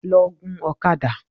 Lọ gun ọ̀kadà!